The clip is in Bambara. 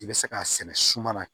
I bɛ se k'a sɛnɛ suma na